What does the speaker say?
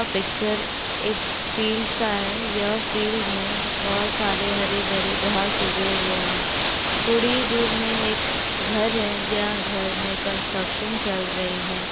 यह पिक्चर एक फील्ड का है यह फील्ड में बहुत सारे हरे-भरे घास उगे हुए हैं थोड़ी ही दूर में एक घर है या घर में कंस्ट्रक्शन चल रही हैं।